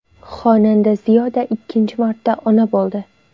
Xonanda Ziyoda ikkinchi marta ona bo‘ldi.